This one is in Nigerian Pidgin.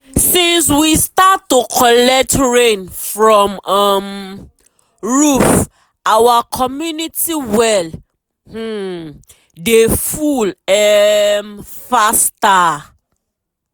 since we start to collect rain from um roof our community well um dey full um faster.